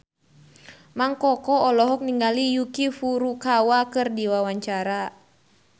Mang Koko olohok ningali Yuki Furukawa keur diwawancara